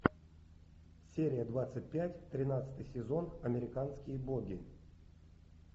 серия двадцать пять тринадцатый сезон американские боги